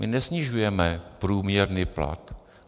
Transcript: My nesnižujeme průměrný plat.